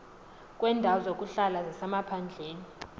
kweendawo zokuhlala zasemaphandleni